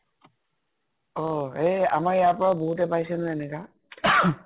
অ । আমাৰ ইয়াৰ পৰা বহুতে পাইছে নহয়, এনেকা ।